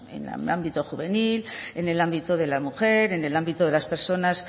en el ámbito juvenil en el ámbito de la mujer en el ámbito de las personas